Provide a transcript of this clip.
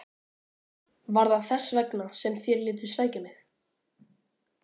Var það þess vegna sem þér létuð sækja mig?